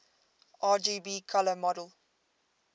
rgb color model